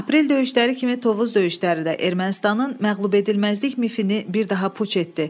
Aprel döyüşləri kimi Tovuz döyüşləri də Ermənistanın məğlubedilməzlik mifini bir daha puç etdi.